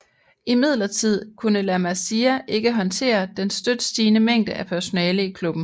Imidlertid kunne La Masia ikke håndtere den støt stigende mængde af personale i klubben